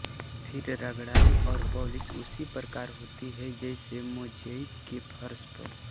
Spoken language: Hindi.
फिर रगड़ाई और पालिश उसी प्रकार होती है जैसे मोज़ैइक के फर्श पर